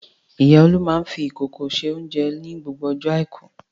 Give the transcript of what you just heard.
Ìyá Olú máa ń fi ìkòkò se oúnjẹ ní gbogbo ọjọ́ àìkú.